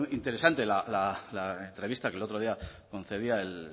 interesante la entrevista que el otro día concedía el